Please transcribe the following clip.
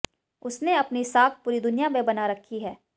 उसने अपनी साख पूरी दुनिया में बना रखी है